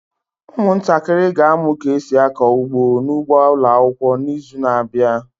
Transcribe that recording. Ụmụntakịrị ga-amụ ka esi akọ ugbo n'ugbo ụlọakwụkwọ n'izu n'abịa.